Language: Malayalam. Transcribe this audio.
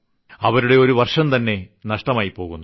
അവരുടെ ഒരു വർഷംതന്നെ നഷ്ടമായിപ്പോകുന്നു